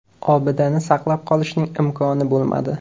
Obidani saqlab qolishning imkoni bo‘lmadi.